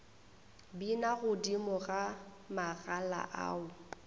bina godimo ga magala ao